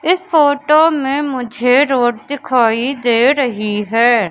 इस फोटो में मुझे रोड दिखाई दे रही है।